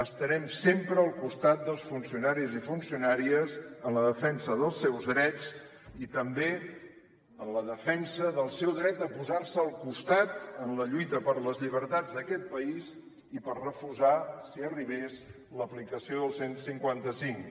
estarem sempre al costat dels funcionaris i funcionàries en la defensa dels seus drets i també en la defensa del seu dret de posar se al costat en la lluita per les llibertats d’aquest país i per refusar si arribés l’aplicació del cent i cinquanta cinc